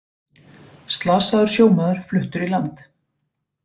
Slasaður sjómaður fluttur í land